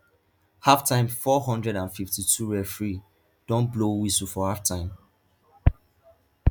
halftime four hundred and fifty-tworeferee don blow whistle for halftime